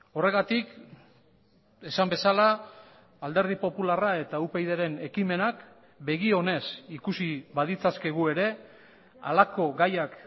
horregatik esan bezala alderdi popularra eta upydren ekimenak begi onez ikusi baditzakegu ere halako gaiak